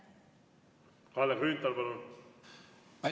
Kalle Grünthal, palun!